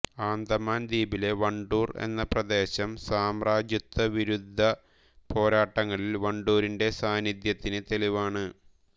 അന്തമാൻ ദ്വീപിലെ വണ്ടൂർ എന്ന പ്രദേശം സാമ്രാജ്യത്വ വിരുദ്ധേ പോരാട്ടങ്ങളിൽ വണ്ടൂരിന്റെ സാന്നിധ്യത്തിന് തെളിവാണ്